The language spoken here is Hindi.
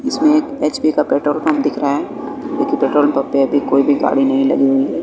इसमे एक एच_पी का पेट्रोल पंप दिख रहा है की पेट्रोल पंप पे अभी कोई भी गाड़ी नहीं लगी हुई है।